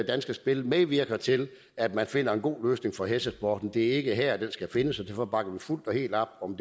danske spil medvirker til at man finder en god løsning for hestesporten det er ikke her den skal findes og derfor bakker vi fuldt og helt op om